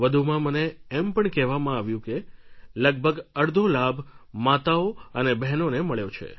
વધુમાં મને એમ પણ કહેવામાં આવ્યું કે લગભગ અડધો લાભ માતાઓ અને બહેનોને મળ્યો છે